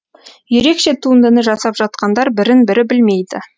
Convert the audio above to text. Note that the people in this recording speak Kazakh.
ерекше туындыны жасап жатқандар бірін бірі білмейді